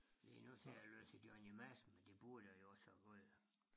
Lige nu sidder jeg og læser Johnny Madsen men det burde jeg jo også have fået